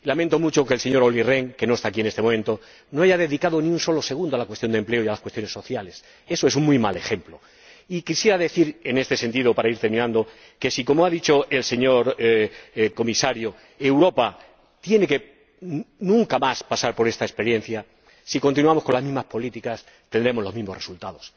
Lamento mucho que el señor Rehn, que no está aquí en este momento, no haya dedicado ni un solo segundo a la cuestión del empleo y a las cuestiones sociales. Eso es un muy mal ejemplo. Y quisiera decir, en este sentido, para ir terminando, que —como ha dicho el señor Comisario— Europa nunca más tiene que pasar por esta experiencia, pero si continuamos con las mismas políticas, tendremos los mismos resultados.